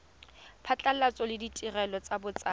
phatlhoso le ditirelo tsa botsadi